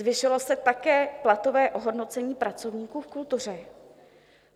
Zvýšilo se také platové ohodnocení pracovníků v kultuře.